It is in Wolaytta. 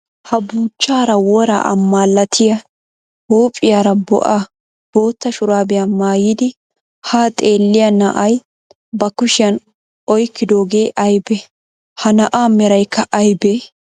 Ha buuchchaara woraa amalatiya huuphiyaara bo'a bootta shuraabiya mayyidi haa xeelliya na"ay ba kushiyan oyikkidoogee ayibee? Ha na'aa merayikka ayibee?